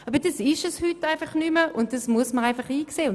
Aber heute ist das nicht mehr der Fall, und das muss man halt einsehen.